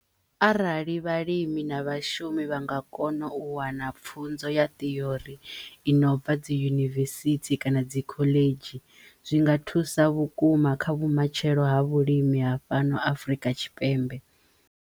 Arali vhalimi na vhashumi vha nga kono u wana pfunzo ya ṱhiori i no bva dzi yunivesithi kana dzi khoḽedzhi zwi nga thusa vhukuma kha vhumatshelo ha vhulimi ha fhano Afrika Tshipembe.